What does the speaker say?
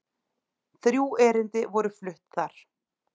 Þrjú erindi voru flutt þar